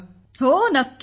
विशाखा जीः हो अवश्य